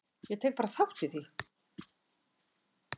Ég tek bara þátt í því.